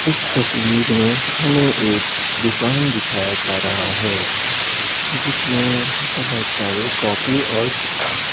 इस तस्वीर में हमें एक दुकान दिखाया जा रहा है जिसमें बहुत सारे कॉपी और किताब --